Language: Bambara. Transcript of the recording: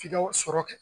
F'i ka sɔrɔ kɛ